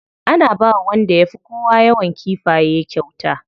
Ana bawa wanda ya fi kowa yawan kifaye kyauta.